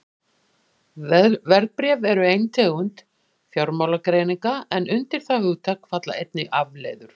Verðbréf eru ein tegund fjármálagerninga en undir það hugtak falla einnig afleiður.